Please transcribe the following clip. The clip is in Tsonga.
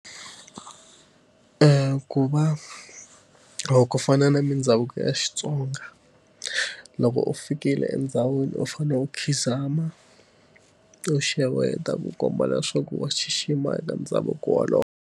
ku va ku fana na mindhavuko ya Xitsonga, loko u fikile endhawini u fanele u khidzama, u xeweta ku komba leswaku wa xixima eka ndhavuko wolowo.